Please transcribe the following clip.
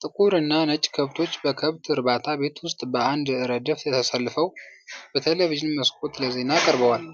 ጥቁር እና ነጭ ከብቶች በከብት እርባታ ቤት ውስጥ በአንድ ረድፍ ተሰልፈው በቴሌቪዢን መስኮት ለዜና ቀርበዋል።